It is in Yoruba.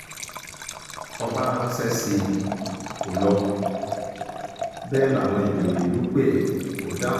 ọba ránṣẹ́ sí i kó lọ bẹ́ẹ̀ láwọn ìjòyè ìlú pé ẹ kò dáhùn